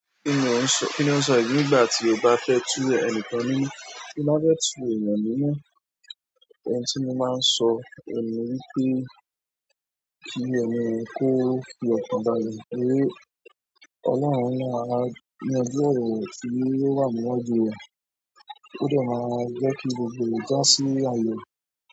Kíni òun sọ nígbàtí ó bá fẹ tù ẹnikan nínú, tí n bá fẹ tù èèyàn nínú, ohun tí mo máa ń sọ oun ni wípé kí èni kó fi ọkàn balẹ̀ pé ọlọ́run ni máa, yanjú ọrọ rẹ tí ó wà níwájú rẹ̀, ó dẹ máa jẹ́kí gbogbo o jà sí ayọ.